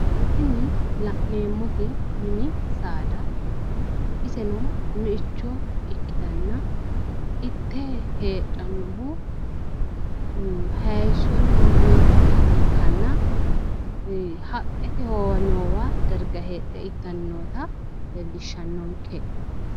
Tini la'neemmoti misi saada ikkitanna iseno meicho ikkitanna itte heedhannohu haayisonna uta ikkanna haqqete howamewo darga heedhe ittanni noota leellishshannonke.